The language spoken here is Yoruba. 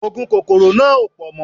Oògùn kòkòrò náà ò pọ̀ mọ́